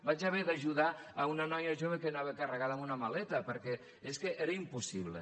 vaig haver d’ajudar una noia jove que anava carregada amb una maleta perquè és que era impossible